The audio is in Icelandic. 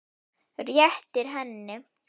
Réttir henni.